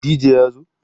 dj ya zo?